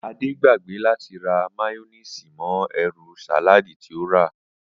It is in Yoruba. Adé gbagbé láti ra máyó̩néèsì mo̩ e̩rù sàláàdì tí ó rà